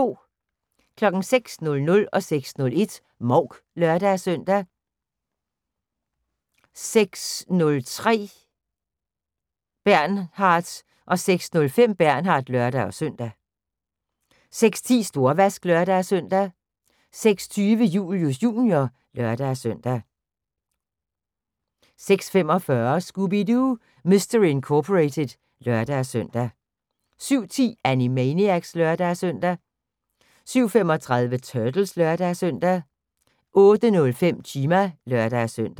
06:00: Mouk (lør-søn) 06:01: Mouk (lør-søn) 06:03: Bernard 06:05: Bernard (lør-søn) 06:10: Storvask (lør-søn) 06:20: Julius Jr. (lør-søn) 06:45: Scooby-Doo! Mystery Incorporated (lør-søn) 07:10: Animaniacs (lør-søn) 07:35: Turtles (lør-søn) 08:05: Chima (lør-søn)